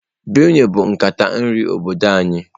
Benue bụ nkata nri obodo anyị.